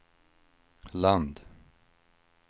land